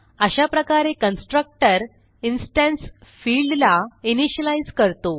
अशाप्रकारे constructor instance फिल्डला initialise करतो